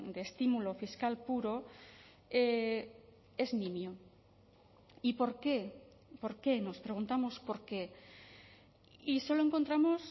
de estímulo fiscal puro es nimio y por qué por qué nos preguntamos por qué y solo encontramos